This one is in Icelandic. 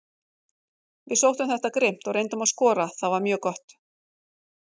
Við sóttum þetta grimmt og reyndum að skora, það var mjög gott.